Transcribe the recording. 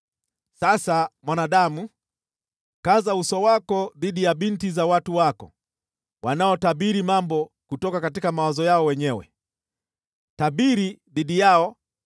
“Sasa, mwanadamu, kaza uso wako dhidi ya binti za watu wako wanaotabiri mambo kutoka mawazo yao wenyewe. Tabiri dhidi yao